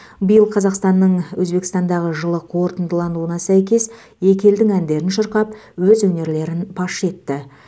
биыл қазақстанның өзбекстандағы жылы қорытындылануына сәйкес екі елдің әндерін шырқап өз өнерлерін паш етті